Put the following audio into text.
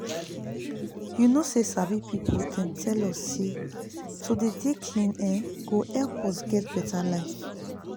you know say sabi people dem tell us say to dey dey clean[um]go help us get beta life